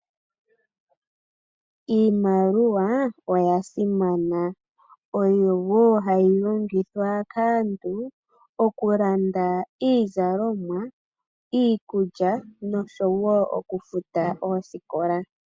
Iimaliwa oya simana. Oyo wo hayi longithwa kaantu oku landa iizalomwa, iikulya nosho wo oku futa oosikola.